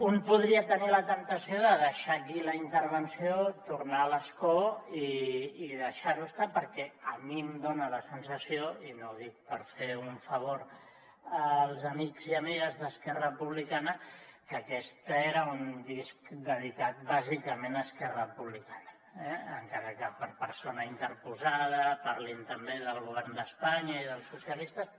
un podria tenir la temptació de deixar aquí la intervenció tornar a l’escó i deixar ho estar perquè a mi em dona la sensació i no ho dic per fer un favor als amics i amigues d’esquerra republicana que aquest era un disc dedicat bàsicament a esquerra republicana encara que per persona interposada parlin també del govern d’espanya i dels socialistes